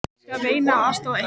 Ég skal reyna að aðstoða ykkur.